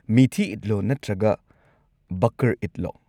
ꯃꯤꯊꯤ ꯏꯗꯂꯣ ꯅꯠꯇ꯭ꯔꯒ ꯕꯥꯀꯔ-ꯏꯗꯂꯣ?